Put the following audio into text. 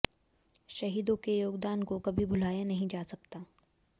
शहीदों के योगदान को कभी भुलाया नहीं जा सकता